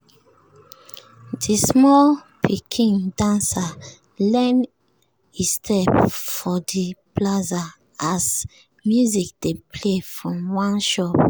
de small pikin dancer learn e step for de plaza as music dey play from one shop.